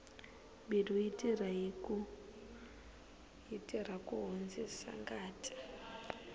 mbilu yi tirha ku hundzisa ngati